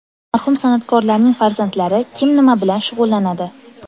Marhum san’atkorlarning farzandlari: Kim nima bilan shug‘ullanadi?.